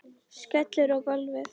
Skellur á gólfið.